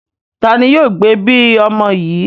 Ta ni yóò gbẹ̀bi ọmọ yìí?